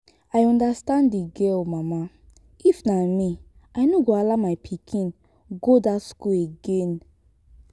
i understand the girl mama if na me i no go allow my pikin go dat school again